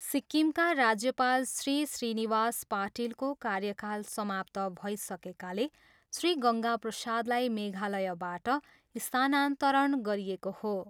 सिक्किमका राज्यपाल श्री श्रीनिवास पाटिलको कार्यकाल समाप्त भइसकेकाले श्री गङ्गाप्रसादलाई मेघालयबाट स्थानान्तरण गरिएको हो।